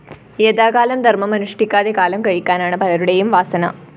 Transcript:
യഥാകാലം ധര്‍മം അനുഷ്ഠിക്കാതെ കാലം കഴിക്കാനാണ് പലരുടേയും വാസന